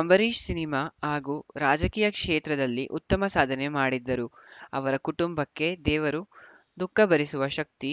Ambareesh cinema ಹಾಗೂ ರಾಜಕೀಯ ಕ್ಷೇತ್ರದಲ್ಲಿ ಉತ್ತಮ ಸಾಧನೆ ಮಾಡಿದ್ದರು ಅವರ ಕುಟುಂಬಕ್ಕೆ ದೇವರು ದುಃಖ ಭರಿಸುವ ಶಕ್ತಿ